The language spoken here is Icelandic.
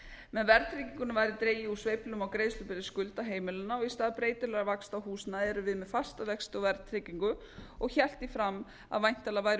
með verðtryggingunni væri dregið úr sveiflum á greiðslubyrði skulda heimilanna og í stað breytilegra vaxta á húsnæði erum við með fasta vexti og verðtryggingu og hélt því fram að væntanlega væru